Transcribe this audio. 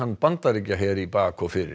Bandaríkjaher í bak og fyrir